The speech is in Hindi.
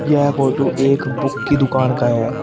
यह फोटो एक बुक की दुकान का है।